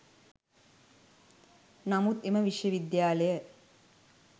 නමුත් එම විශ්ව විද්‍යාලය